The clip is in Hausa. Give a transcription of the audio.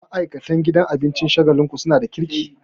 Ma'aikatan gidan abincin Shagalinku suna da kirki